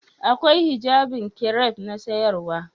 Akwai hijabin kiref na siyarwa?